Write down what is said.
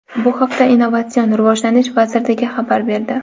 Bu haqda Innovatsion rivojlanish vazirligi xabar berdi .